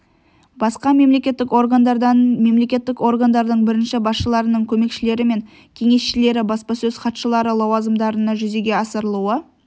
басқа мемлекеттік органдардан мемлекеттік органдардың бірінші басшыларының көмекшілері мен кеңесшілері баспасөз хатшылары лауазымдарына жүзеге асырылуы